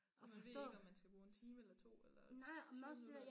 Og man ved ikke om man skal bruge en time eller 2 eller 20 minutter